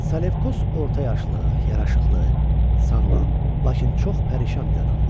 Salefkos orta yaşlı, yaraşıqlı, sağlam, lakin çox pərişan bir adamdır.